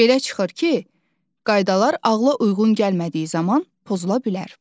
Belə çıxır ki, qaydalar ağla uyğun gəlmədiyi zaman pozula bilər.